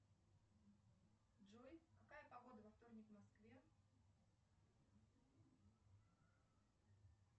джой какая погода во вторник в москве